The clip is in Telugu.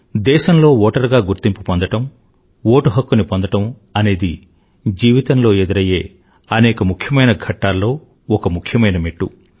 దేశంలో ఓటరుగా గుర్తింపు పొందడం ఓటు హక్కుని పొందడం అనేది జీవితంలో ఎదురయ్యే అనేక ముఖ్యమైన ఘట్టాల్లో ఒక ముఖ్యమైన మెట్టు